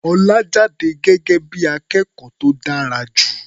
Ọlá jáde gẹ́gẹ́ bí i akẹ́kọ̀ó tó dára jù.